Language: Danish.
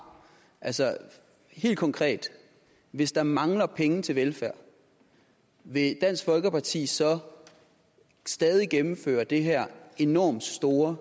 altså helt konkret hvis der mangler penge til velfærd vil dansk folkeparti så stadig gennemføre det her enormt store